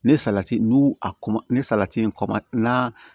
Ne salati nuu a ma ne salati kɔma n'a